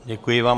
Děkuji vám.